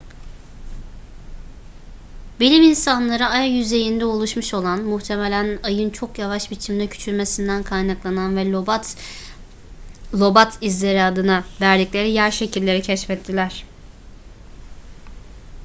bilim insanları ay yüzeyinde oluşmuş olan muhtemelen ayın çok yavaş biçimde küçülmesinden kaynaklanan ve lobat izleri adını verdikleri yer şekilleri keşfettiler